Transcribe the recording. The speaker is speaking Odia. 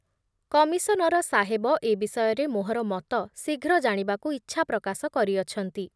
କମିଶନର ସାହେବ ଏ ବିଷୟରେ ମୋହର ମତ ଶୀଘ୍ର ଜାଣିବାକୁ ଇଚ୍ଛା ପ୍ରକାଶ କରିଅଛନ୍ତି ।